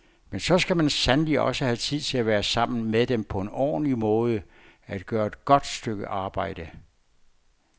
Men så skal man sandelig også have tid til at være sammen med dem på en ordentlig måde, at gøre et godt stykke arbejde.